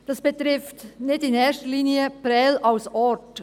Das betrifft nicht in erster Linie Prêles als Ort.